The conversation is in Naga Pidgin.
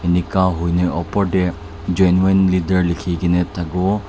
eningka hoile opor te genuine leather lekhi kina thaki bo--